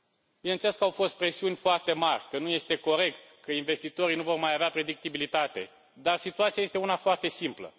Bineînțeles că au fost presiuni foarte mari că nu este corect, că investitorii nu vor mai avea predictibilitate, dar situația este una foarte simplă.